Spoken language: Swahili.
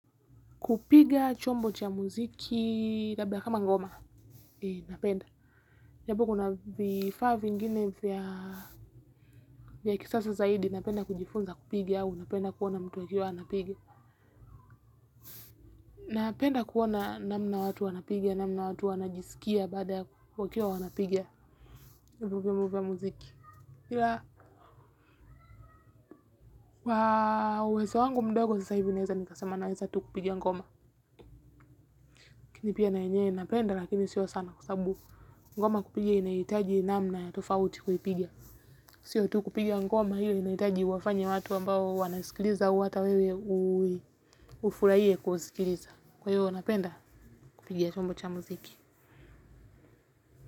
Kupiga chombo cha muziki labda kama ngoma napenda. Japo kuna vifaa vingine vya kisasa zaidi napenda kujifunza kupiga au napenda kuona mtu akiwa anapiga. Napenda kuona namna watu wanapiga namna watu wanajisikia bada wakiwa wanapiga. Ila uwezo wangu mdogo naweza sema naweza kupiga tuh ngoma laKini pia na yenye napenda lakini sio sana kwa sababu. Ngoma kupigia inahitaji namna ya tofauti kuipigia. Sio tu kupigia ngoma hile inahitaji wafanya watu ambao wanaisikiliza au ata wewe ufurahie kuwasikiliza. Kwa hiyo napenda kupigia chombo cha muziki.